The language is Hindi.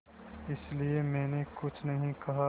इसलिए मैंने कुछ नहीं कहा